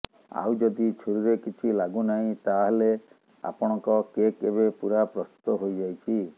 ଆଉ ଯଦି ଛୁରିରେ କିଛି ଲାଗୁ ନାହିଁ ତାହାଲେ ଆପଣଙ୍କ କେକ୍ ଏବେ ପୂରା ପ୍ରସ୍ତୁତ ହୋଇଯାଇଛି